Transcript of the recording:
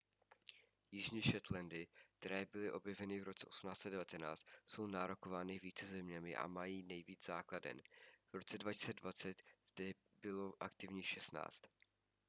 jižní shetlandy které byly objeveny v roce 1819 jsou nárokovány více zeměni a mají nejvíc základen v roce 2020 jich zde bylo aktivních 16